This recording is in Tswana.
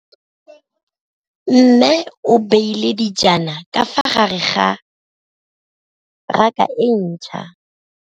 Mmê o beile dijana ka fa gare ga raka e ntšha.